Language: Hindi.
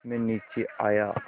मैं नीचे आया